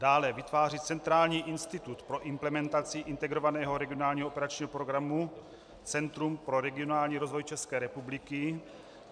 Dále vytváří centrální institut pro implementaci Integrovaného regionálního operačního programu Centrum pro regionální rozvoj České republiky.